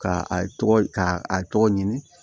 Ka a tɔgɔ k'a a tɔgɔ ɲini